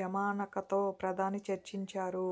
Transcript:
యమనకతో ప్రధాని చర్చించారు